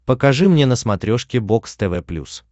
покажи мне на смотрешке бокс тв плюс